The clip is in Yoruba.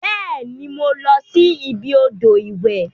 Beeni, mo losi ibi odo iwe.